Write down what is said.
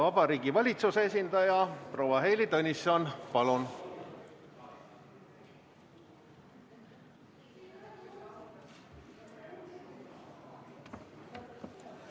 Vabariigi Valitsuse esindaja proua Heili Tõnisson, palun!